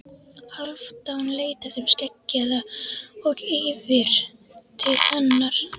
Hálfdán leit af þeim skeggjaða og yfir til hennar.